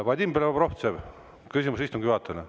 Vadim Belobrovtsev, küsimus istungi juhatajale.